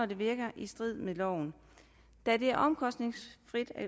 det er i strid med loven da det er omkostningsfrit at